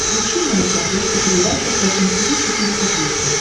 включи мне на смотрешке передачу фэшн ти ви четыре ка